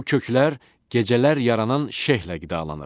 Bu köklər gecələr yaranan şehlə qidalanır.